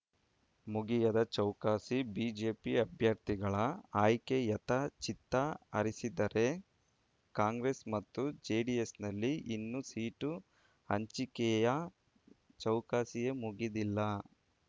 ಮುಗಿಯದ ಚೌಕಾಸಿ ಬಿಜೆಪಿ ಅಭ್ಯರ್ಥಿಗಳ ಆಯ್ಕೆಯತ್ತ ಚಿತ್ತ ಹರಿಸಿದ್ದರೆ ಕಾಂಗ್ರೆಸ್ ಮತ್ತು ಜೆಡಿಎಸ್‌ನಲ್ಲಿ ಇನ್ನೂ ಸೀಟು ಹಂಚಿಕೆಯ ಚೌಕಾಸಿಯೇ ಮುಗಿದಿಲ್ಲ